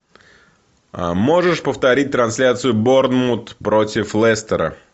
можешь повторить трансляцию борнмут против лестера